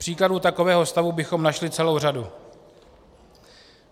Příkladů takového stavu bychom našli celou řadu.